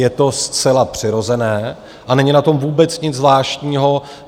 Je to zcela přirozené a není na tom vůbec nic zvláštního.